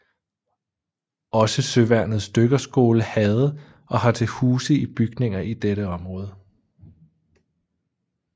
Også Søværnets Dykkerskole havde og har til huse i bygninger i dette område